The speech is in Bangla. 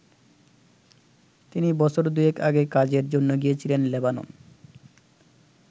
তিনি বছর দুয়েক আগে কাজের জন্য গিয়েছিলেন লেবানন।